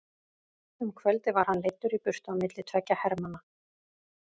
Um kvöldið var hann leiddur í burtu á milli tveggja hermanna.